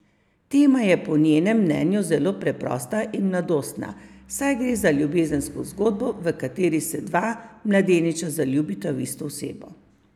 Tema je po njenem mnenju zelo preprosta in mladostna, saj gre za ljubezensko zgodbo, v kateri se dva mladeniča zaljubita v isto osebo.